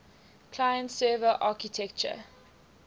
client server architecture